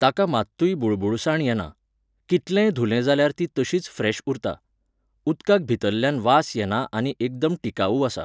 ताका मात्तूय बुळबूळसाण येना. कितलेंय धुलें जाल्यार ती तशीच फ्रेश उरता. उदकाक भितरल्यान वास येना आनी एकदम टिकावू आसा